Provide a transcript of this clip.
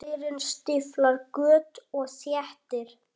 Leirinn stíflar göt og þéttir.